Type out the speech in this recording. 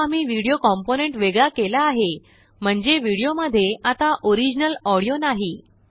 आताआम्ही video component वेगळा केला आहे म्हणजेविडियो मध्ये आताओरिजिनल ऑडियो नाही